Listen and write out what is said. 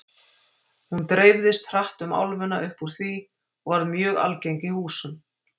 Hún dreifðist hratt um álfuna upp úr því og varð mjög algeng í húsum.